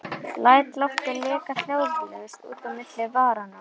Læt loftið leka hljóðlaust út á milli varanna.